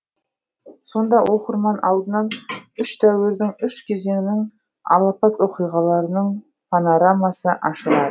сонда оқырман алдынан үш дәуірдің үш кезеңнің алапат оқиғаларының панорамасы ашылады